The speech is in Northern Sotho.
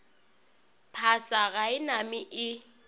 phasa ga e name e